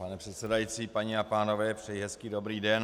Pane předsedající, paní a pánové, přeji hezký dobrý den.